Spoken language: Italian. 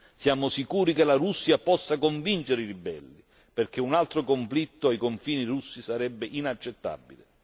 Siamo sicuri che la Russia possa convincere i ribelli, perché un altro conflitto ai confini russi sarebbe inaccettabile.